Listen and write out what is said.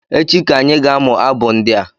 Echi ka anyị ga amụ abụ ndị a